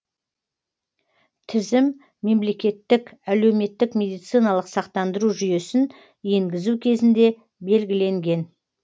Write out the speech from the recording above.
тізім мемлекеттік әлеуметтік медициналық сақтандыру жүйесін енгізу кезінде белгіленген